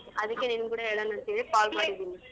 ಅದಕ್ಕೆ ನಿನಿಗ್ ಕೂಡ ಹೇಳಣ ಅಂತ ಹೇಳಿ call ಮಾಡಿದೀನಿ.